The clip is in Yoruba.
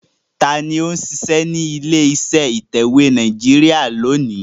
Tani ó ń ṣiṣẹ́ ní ilé iṣẹ́ ìtẹ̀wé Nàìjíríà lónìí?